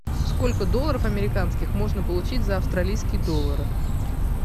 сколько долларов американских можно получить за австралийские доллары